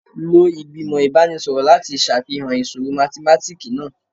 Lo igbimọ ibanisọrọ lati ṣafihan iṣoro mathematiki naa